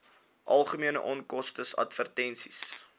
algemene onkoste advertensies